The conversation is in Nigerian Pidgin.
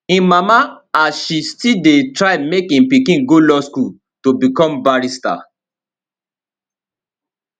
im mama as she still dey try make im pikin go law school to become barrister